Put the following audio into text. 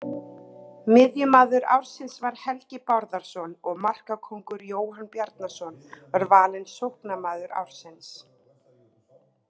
Miðjumaður ársins var Helgi Bárðarson og markakóngurinn Jóhann Bjarnason var valinn sóknarmaður ársins.